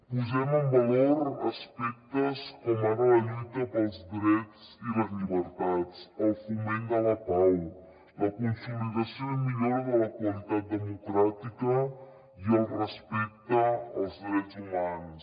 posem en valor aspectes com ara la lluita pels drets i les llibertats el foment de la pau la consolidació i millora de la qualitat democràtica i el respecte als drets humans